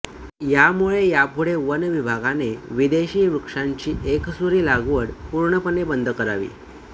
यामुळे यापुढे वन विभागाने विदेशी वृक्षांची एकसुरी लागवड पूर्णपणे बंद करावी